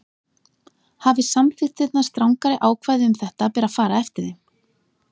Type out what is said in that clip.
Hafi samþykktirnar strangari ákvæði um þetta ber að fara eftir þeim.